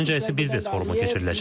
Ardınca isə biznes forumu keçiriləcək.